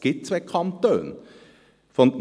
Es gibt zwei Kantone. «